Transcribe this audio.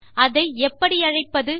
அதை எப்படி அழைப்பது